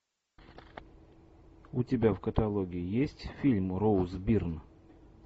у тебя в каталоге есть фильм роуз бирн